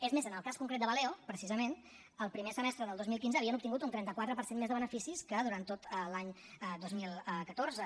és més en el cas concret de valeo precisament el primer semestre del dos mil quinze havien obtingut un trenta quatre per cent més de beneficis que durant tot l’any dos mil catorze